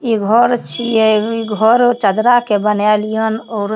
ई घर छिये ई घर चदरा के बनाल या और --